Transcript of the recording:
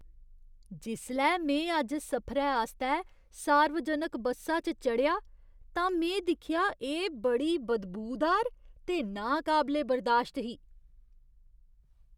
जिसलै में अज्ज सफरै आस्तै सार्वजनक बस्सा च चढ़ेआ तां में दिक्खेआ एह् बड़ी बदबूदार ते नाकबले बर्दाश्त ही।